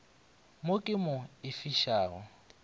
mo ke mo e fišago